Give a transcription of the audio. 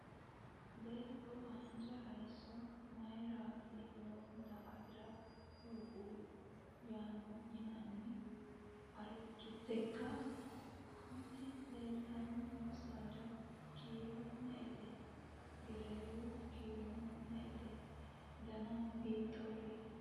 Baatto haanja hayiisso mayiirati lowota afira hoogguhu? Yannano arritekka? Konne leeltanni noo saada kiiro me"ete? Gereewu kiirono me"ete? Danano hiittoreeti?